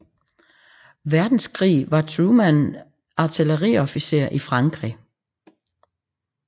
Verdenskrig var Truman artilleriofficer i Frankrig